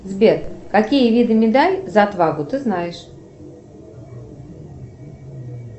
сбер какие виды медаль за отвагу ты знаешь